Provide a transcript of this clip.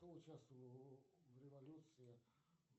кто участвовал в революции